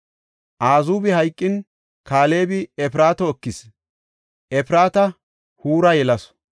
Azuubi hayqin, Kaalebi Efraato ekis; Efraata Huura yelasu.